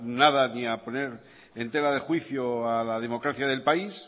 nada ni a poner en tela de juicio a la democracia del país